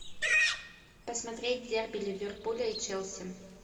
посмотреть дерби ливерпуля и челси